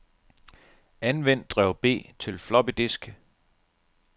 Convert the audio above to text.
Anvend drev B til floppydisk.